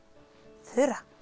Þura